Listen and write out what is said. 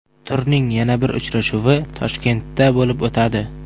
Turning yana bir uchrashuvi Toshkentda bo‘lib o‘tadi.